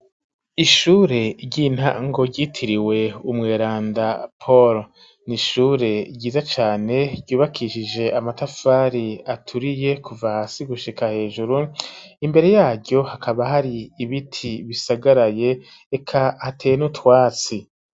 Ishure ry'intango ryitiriwe umweranda Polo n'ishure ryiza cane ryubakishije amatafari aturiye kuva hasi gushika hejuru imbere yaryo hakaba hari ibiti bisagaraye eka hateye n'utwatsi.